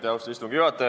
Austatud istungi juhataja!